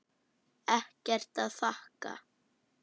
Ekkert að þakka.